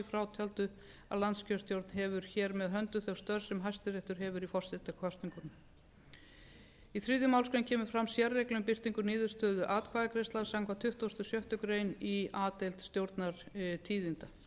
frátöldu að landskjörstjórn hefur hér með höndum þau störf sem hæstiréttur hefur í forsetakosningum í þriðju málsgrein kemur fram sérregla um birtingu niðurstöðu atkvæðagreiðslu samkvæmt tuttugustu og sjöttu grein í a deild